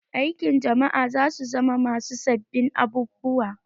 Aikin jama'a za su zama masu sabbin abubuwa